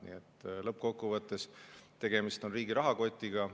Nii et lõppkokkuvõttes tegemist on riigi rahakotiga.